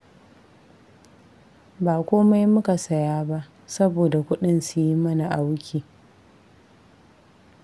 Ba komai muka saya ba, saboda kudin su yi mana auki